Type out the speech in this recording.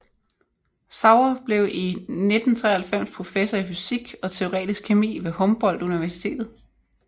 Sauer blev i 1993 professor i fysisk og teoretisk kemi ved Humboldt Universitetet